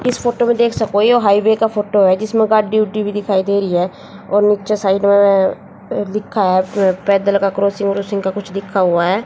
इस फोटो मे देख सको ये हाईवे का फोटो है जिसमें गार्ड ड्यूटी भी दिखाई दे रही है और नीचे साइन अह लिखा है पैदल का क्रॉसिंग वोसिंग का कुछ लिखा हुआ है।